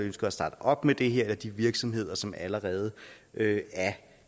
ønsker at starte op med det her eller de virksomheder som allerede er